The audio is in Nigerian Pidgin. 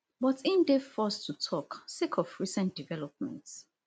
but im dey forced to tok sake of recent developments